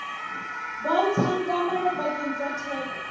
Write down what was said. bontshang kamano pakeng tsa theko